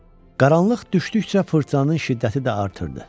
Qaranlıq düşdükcə fırtınanın şiddəti də artırdı.